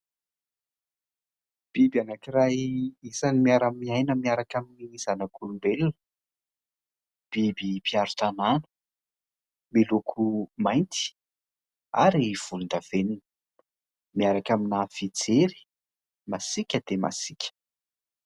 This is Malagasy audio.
Biby anaky iray izany miaramiaina miaraka amin'ny zanak'olombelona biby mpiaro tanàna, miloko mainty ary volon-davenina miaraka amin'ny fijery masika dia masika.